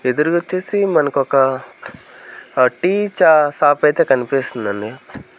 ఎదురుగా వచ్చేసి మనక ఒక టీ చ-- షాప్ అయితే కనిపిస్తుందండి.